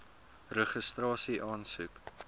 registrasieaansoek